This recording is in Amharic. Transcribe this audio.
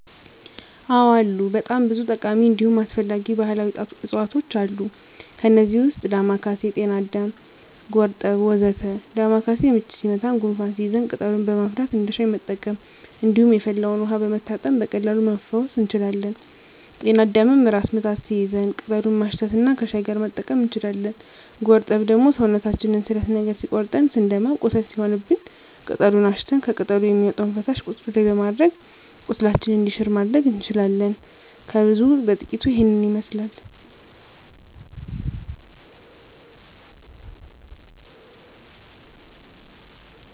አዎ አሉ በጣም ብዙ ጠቃሚ እንዲሁም አስፈላጊ ባህላዊ እፅዋቶች አሉ። ከእነዚህም ውስጥ ዳማካሴ፣ ጤናአዳም፣ ጎርጠብ ወ.ዘ.ተ ዳማካሴ ምች ሲመታን ጉንፋን ሲይዘን ቅጠሉን በማፍላት እንደ ሻይ መጠቀም እንዲሁም የፈላውን ውሀ በመታጠን በቀላሉ መፈወስ እንችላለን። ጤና አዳምም ራስ ምታት ሲይዘን ቅጠሉን ማሽት እና ከሻይ ጋር መጠቀም እንችላለን። ጎርጠብ ደግሞ ሰውነታችንን ስለት ነገር ሲቆርጠን ስንደማ ቁስል ሲሆንብን ቅጠሉን አሽተን ከቅጠሉ የሚወጣውን ፈሳሽ ቁስሉ ላይ በማድረግ ቁስላችን እንዲሽር ማድረግ እንችላለን። ከብዙ በጥቂቱ ይሄንን ይመስላል።